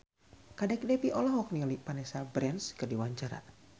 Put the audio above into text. Kadek Devi olohok ningali Vanessa Branch keur diwawancara